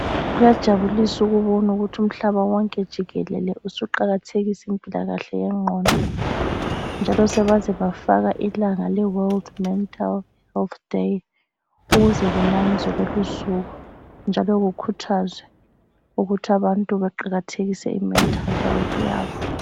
Kuyajabulis’ ukubonukuthi umhlaba wonke jikelele usuqakathekisa impilakahle yengqondo njalo sebaze bafaka ilanga leWorld Mental Health Day ukuze kunanzwe lolusuku njalo kukhuthazwe ukuthi abantu baqakathekise imental health yabo.